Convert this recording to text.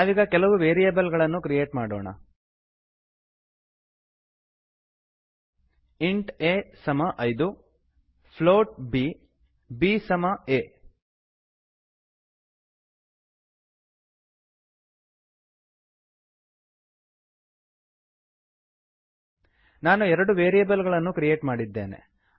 ನಾವೀಗ ಕೆಲವು ವೇರಿಯೇಬಲ್ ಗಳನ್ನು ಕ್ರಿಯೇಟ್ ಮಾಡೋಣ ಇಂಟ್ a ಇಂಟ್ ಎ ಸಮ 5ಐದು float b float b b ಬಿಸಮ aಎ ನಾನು ಎರಡು ವೇರಿಯೇಬಲ್ ಗಳನ್ನು ಕ್ರಿಯೇಟ್ ಮಾಡಿದ್ದೇನೆ